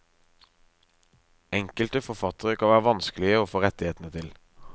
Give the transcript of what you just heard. Enkelte forfattere kan være vanskelige å få rettighetene til.